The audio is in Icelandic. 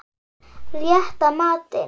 Rétta matinn.